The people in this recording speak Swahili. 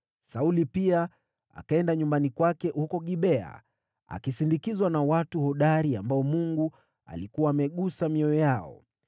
Sauli pia akaenda nyumbani kwake huko Gibea, akisindikizwa na watu hodari ambao Mungu alikuwa amegusa mioyo yao.